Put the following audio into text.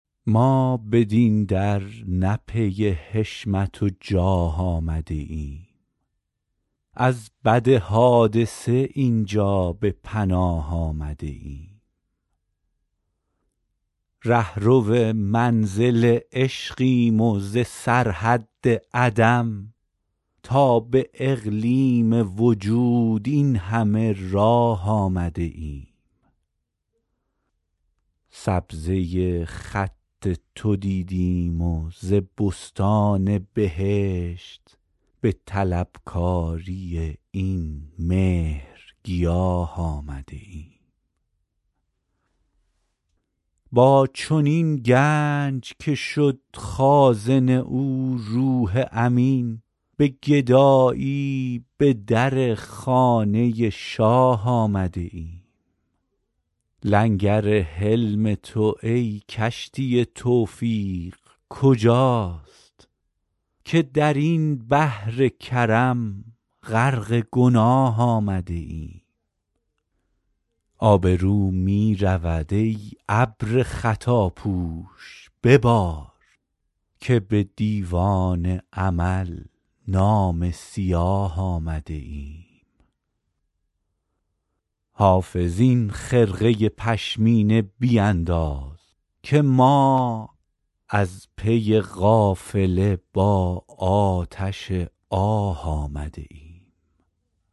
ما بدین در نه پی حشمت و جاه آمده ایم از بد حادثه این جا به پناه آمده ایم رهرو منزل عشقیم و ز سرحد عدم تا به اقلیم وجود این همه راه آمده ایم سبزه خط تو دیدیم و ز بستان بهشت به طلبکاری این مهرگیاه آمده ایم با چنین گنج که شد خازن او روح امین به گدایی به در خانه شاه آمده ایم لنگر حلم تو ای کشتی توفیق کجاست که در این بحر کرم غرق گناه آمده ایم آبرو می رود ای ابر خطاپوش ببار که به دیوان عمل نامه سیاه آمده ایم حافظ این خرقه پشمینه بینداز که ما از پی قافله با آتش آه آمده ایم